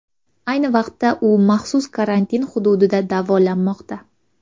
Ayni vaqtda u maxsus karantin hududida davolanmoqda.